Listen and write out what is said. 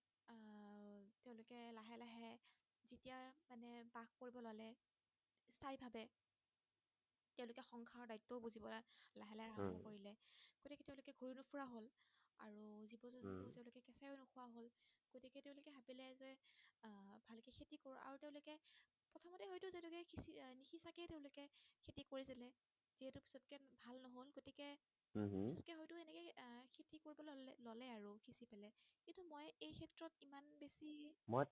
মই